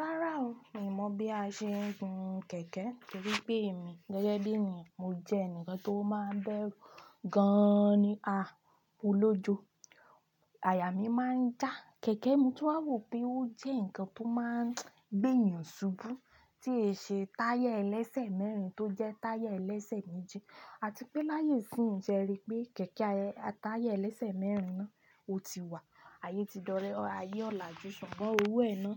Rárá o, mi mọ̀ bí a ṣe ń gun kẹ̀kẹ́ torí pé èmi gẹ́gẹ́ bí ènìyàn mo jẹ́ ẹnìkan tó máa ń bẹ́rù gan-an ni, ah mo lọ́jọ́. Àyà mi máa ń já. Kẹ̀kẹ́ mo tún wà wò pé ó jẹ́ ǹkan tó máa ń gbé ènìyàn ṣubú tí ẹsẹ̀ táyà ẹlẹ́sẹ̀ mẹ́rin tó jẹ́ táyà ẹlẹ́sẹ̀ méjì, àti pé láyé sì ń ṣe rí pé kẹ̀kẹ́ a, táyà ẹlẹ́sẹ̀ mẹ́rin náà ó ti wà. Ayé ti dọ́rẹ̀ẹ́, ayé ọ̀làjú ṣùgbọ́n owó ẹ ná,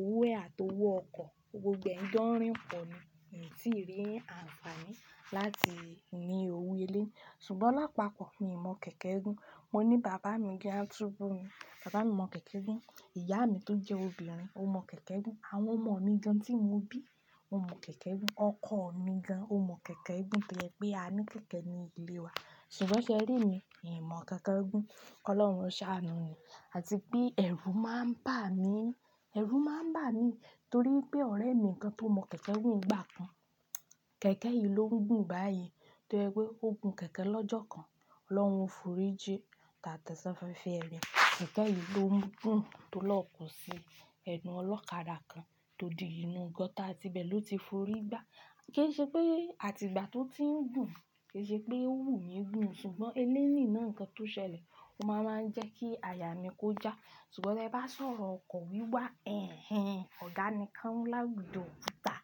owó ẹ̀ àti owó ọkọ̀, gbogbo ẹ̀ ń jọ́rin pò ni, mi tí rí àǹfààní láti ní owó eléyì. Ṣùgbọ́n lápapọ̀ mi ò mọ kẹ̀kẹ́ gún. Mo ní bàbá gan a túbú ni, bàbá mi mọ kẹ̀kẹ́ gún, ìyá mi tó jẹ́ obìnrin ó mọ kẹ̀kẹ́ gún, àwọn ọmọ mi gan tí mo bí, wọ́n mọ kẹ̀kẹ́ gún, ọkọ mi gan ó mọ kẹ̀kẹ́ gún toye pé a ní kẹ̀kẹ́ ní ilé wa. Ṣùgbọ́n ṣe ẹ rí mi? Mi mọ̀ kẹ̀kẹ́ gún. Ọlọ́run ó ṣàánú ni. Àti pé ẹ̀rù máa ń bà mí, ẹ̀rù máa ń bà mí torí pé ọ̀rẹ́ mi kan tó mọ̀ kẹ̀kẹ́ gún nígbà kan, kẹ̀kẹ́ yìí ló ń gùn báyìí toye pé ó gun kẹ̀kẹ́ lọ́jọ́ kan Ọlọ́run ó forí jí à tẹ̀ ṣafẹ́fẹ́ ire. Kẹ̀kẹ́ yìí ló ń gùn tó lọ́ko sí ẹnù ọlọ́kadà kan tó di inú gutter à tí bẹ̀ ló ti f'orí gbá. Kì í ṣe pé àti ìgbà tó ti ń gùn, kì í ṣe pé òwú mi ń gùn ṣùgbọ́n eléní náà nǹkan tó ṣẹlẹ̀, ó máa wa ń jẹ́ kí àyà mi kó já. Ṣùgbọ́n tí ẹ bá sọ̀rọ̀ ọkọ̀ wíwà, ẹ̀hen! Ọ̀gá nì kaun lá wújo okùtà,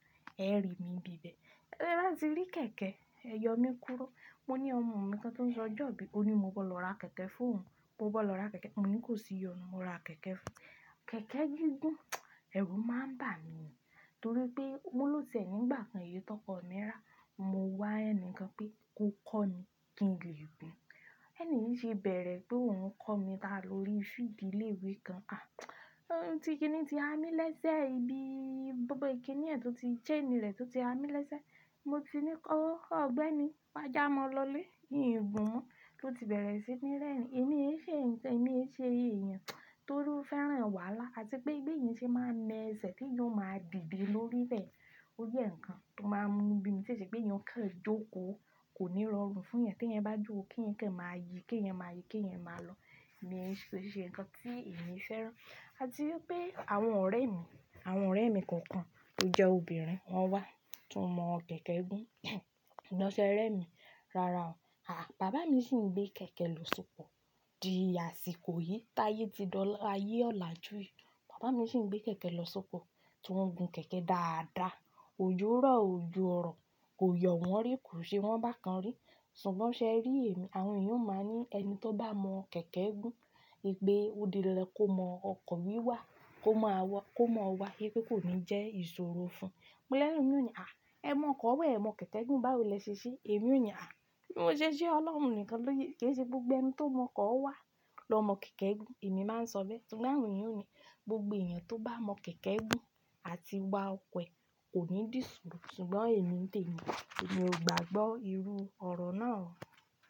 ẹ rí mi bíbẹ̀. Te ẹ bá ti rí kẹ̀kẹ́? Ẹyọ mi kúrú. Mo ní ọmọ mi kan tó ń sọjọ́ bíi, ó ní mo gbọ́dọ̀ lọ ra kẹ̀kẹ́ fún òun. Mo gbọ́dọ̀ ra kẹ̀kẹ́. Mo ní kò sí ìyọnu, mo ra kẹ̀kẹ́ fún un. Kẹ̀kẹ́ gi gùn, ẹ̀rù máa ń bà mí torí pé- mo lo ti e nígbà kan èyí tọkọ mi rà, mo wá ẹnì kan pé kó kọ́ mi kí n lè gun. Ẹni yìí ṣe bẹ̀rẹ̀ pé òun ń kọ́ mi tà lórí field ìléwé kan. À! Oh ti kíni ti há mí lẹ́sẹ̀, ibi gbogbo kíni ẹ̀ tó ti chain re tó ti há mí lẹ́sẹ̀. Mo ti ní kọ ọ́, ọ̀gbẹ́ni, wá já mọ́ lọlé, í n gùn mọ́. Ó ti bẹ̀rẹ̀ sí ní rẹ́rìn-ín, èmi ń ṣe ǹkan, èmi ń ṣe èyan, tó ó fẹ́ràn wàhálà àti pé beyan ṣe máa ń na ẹsẹ̀ ẹ̀ te eyàn ó máa dìde lórí rẹ̀. Ó jẹ́ ǹkan tó máa ń mú ni bí mi tí èṣepé ènìyàn ò kàn jókòó kò ní rọrùn fún ènìyàn tí ẹn bá jo ko kí ǹkan máa yí, kí yẹn máa yí, kí ẹyan máa lọ. Mi ṣì lè ṣe ǹkan tí èmi feeran. Àti wípé àwọn ọ̀rẹ́ mi, àwọn ọ̀rẹ́ mi kankan tó jẹ́ obìnrin wọ́n wá tí wọ́n mọ̀ kẹ̀kẹ́ gún. Ṣùgbọ́n ṣẹ́ rẹ́ mi, rárá o. Àhà! Bàbá mi sì ń gbé kẹ̀kẹ́ lọ sóko. Di àsìkò yìí, táyé ti di áyé ọ̀làjú yìí, bàbá mi sì ń gbé kẹ̀kẹ́ lọ sóko, tí wọ́n ń gun kẹ̀kẹ́ dáadáa, òjorọ̀ o òjo o ọ̀rọ̀ kò yọ wọ́n rí, kò ṣe wọ́n bákan rí. Ṣùgbọ́n ṣe ẹ rí èmi? Àwọn èyan ó máa ń ní ẹni tó bá mọ̀ kẹ̀kẹ́ gún, ipe òdí dandan kó mọ ọkọ̀ wíwà, kó mọ wọ̀, kó mọ̀ wá, pé kò ní jẹ́ ìṣòro fún. Mo lè elomi ó ní, "À! Ẹ mọ ọkọ̀ wa, ẹ mọ kẹ̀kẹ́ gún báwo ni ẹ ṣe ṣe?" Èmi ò ní, "À! Bí mo ṣe ṣe Ọlọ́run nìkan ló yẹ. Ke e ṣe gbogbo ẹni tó mọ̀ ọkọ̀ wà ló mọ̀ kẹ̀kẹ́ gún." Èmi máa ń sọ bẹ́ẹ̀. Ṣùgbọ́n àwọn èyàn ó ní gbogbo èyàn tó bá mọ̀ kẹ̀kẹ́ gún àti wà ọkọ̀ e kò ní dì sọ̀rọ̀. Ṣùgbọ́n èmi ń tèmi ò gbàgbọ́ irú ọ̀rọ̀ náà.